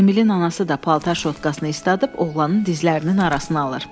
Emilin anası da paltar şotkasını isladıb oğlanın dizlərinin arasına alır.